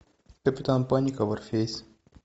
капитан паника варфейс